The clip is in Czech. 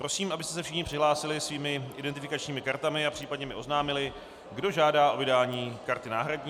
Prosím, abyste se všichni přihlásili svými identifikačními kartami a případně mi oznámili, kdo žádá o vydání karty náhradní.